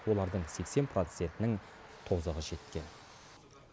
олардың сексен процентінің тозығы жеткен